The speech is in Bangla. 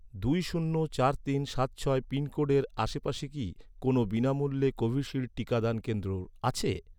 দুই শূন্য চার তিন সাত ছয় পিনকোডের আশেপাশে কি, কোনও বিনামূল্যে কোভিশিল্ড টিকাদান কেন্দ্র আছে?